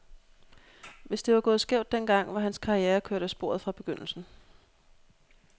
Hvis det var gået skævt den gang, var hans karriere kørt af sporet fra begyndelsen.